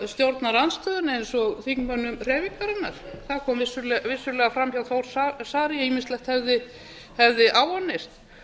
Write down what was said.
stjórnarandstöðunni eins og þingmönnum hreyfingarinnar það kom fram vissulega fram hjá þór saari að ýmislegt hefði áunnist